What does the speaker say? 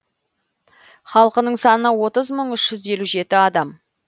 халқының саны отыз мың үш жүз елу жеті адам